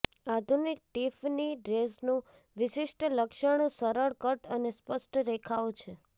આધુનિક ટિફની ડ્રેસનું વિશિષ્ટ લક્ષણ સરળ કટ અને સ્પષ્ટ રેખાઓ છે